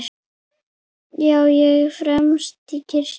Já, ég fermist í kirkju